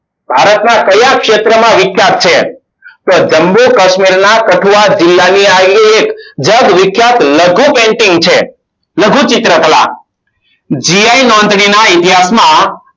ભારતના કયા ક્ષેત્રમાં વિખ્યાત છે. તો જમ્મુ કશ્મીરના તકવાર જિલ્લાની આવેલી એક જગવિખ્યાત લઘુ painting છે. લઘુ ચિત્રકલા gi નોંધણીના ઇતિહાસમાં